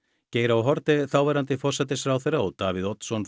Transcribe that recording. Geir h Haarde þáverandi forsætisráðherra og Davíð Oddsson